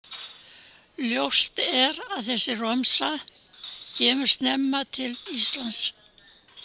Ljóst er að þessi romsa kemur snemma til Íslands.